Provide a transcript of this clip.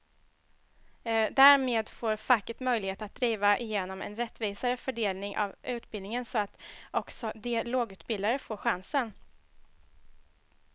Därmed får facket möjlighet att driva igenom en rättvisare fördelning av utbildningen så att också de lågutbildade får chansen.